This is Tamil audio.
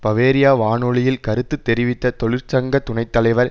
பவேரியா வானொலியில் கருத்துத்தெரிவித்த தொழிற்சங்க துணை தலைவர்